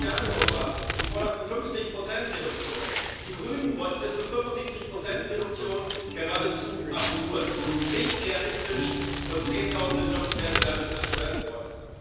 Die Sozialdemokraten forderten 50 Reduktion, die Grünen wollten bis zu 75 Reduktion geradezu absurd, nicht realistisch, und Zehntausende Jobs wären dadurch zerstört worden.